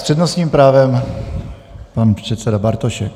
S přednostním právem pan předseda Bartošek.